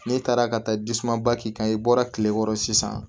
N'e taara ka taa jisumanba k'i kan i bɔra tile kɔrɔ sisan